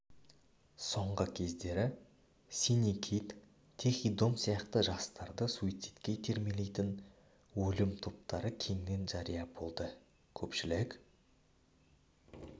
соңғы кездері синий кит тихий дом сияқты жастарды суицидке итермелейтін өлім топтары кеңінен жария болды көпшілік